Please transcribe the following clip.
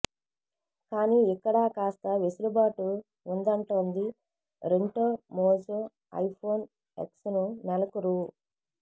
కానీ ఇక్కడా కాస్త వెసులుబాటు ఉందంటోంది రెంటోమోజో ఐఫోన్ ఎక్స్ ను నెలకు రూ